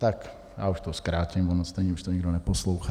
Tak já už to zkrátím, ono stejně už to nikdo neposlouchá.